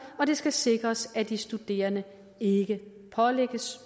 og det skal sikres at de studerende ikke pålægges